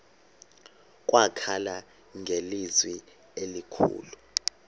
wakhala ngelizwi elikhulu